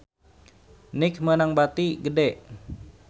Nike meunang bati gede